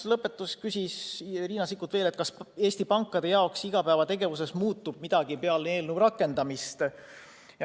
Lõpuks küsis Riina Sikkut, kas Eesti pankade igapäevategevuses peale eelnõu rakendamist midagi muutub.